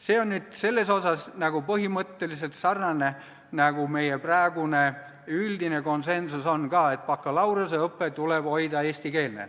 See on nüüd selles osas põhimõtteliselt sarnane meie praeguse üldise konsensusega, et bakalaureuseõpe tuleb hoida eestikeelne.